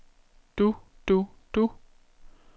du du du